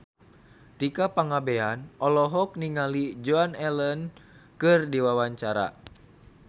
Tika Pangabean olohok ningali Joan Allen keur diwawancara